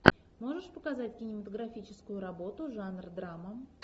можешь показать кинематографическую работу жанр драма